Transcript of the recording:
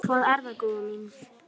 Hvað er það, góða mín?